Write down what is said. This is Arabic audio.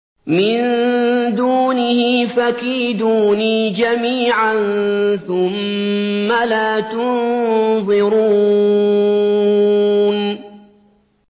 مِن دُونِهِ ۖ فَكِيدُونِي جَمِيعًا ثُمَّ لَا تُنظِرُونِ